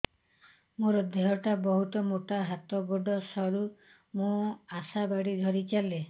ମୋର ଦେହ ଟା ବହୁତ ମୋଟା ହାତ ଗୋଡ଼ ସରୁ ମୁ ଆଶା ବାଡ଼ି ଧରି ଚାଲେ